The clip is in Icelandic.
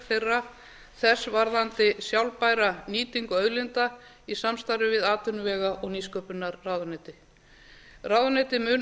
hlutverk þess varðandi sjálfbæra nýtingu auðlinda í samstarfi við atvinnuvega og nýsköpunarráðuneyti ráðuneytið mun